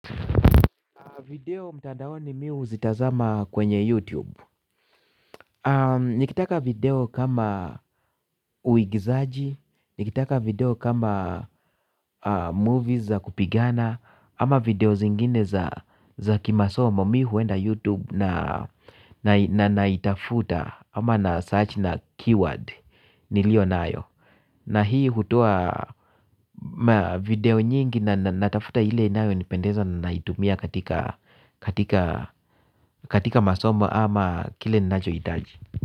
Video mtandaoani mimi huzitazama kwenye YouTube. Nikitaka video kama uigizaji, nikitaka video kama movies za kupigana, ama videos ingine za kimasomo mimi huenda YouTube na naitafuta, ama na search na keyword nilio nayo. Na hii hutoa video nyingi na natafuta ile nayo nipendeza na naitumia katika masomo, ama kile ninacho hitaji.